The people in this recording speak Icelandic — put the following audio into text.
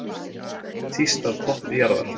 Tíst af toppi jarðar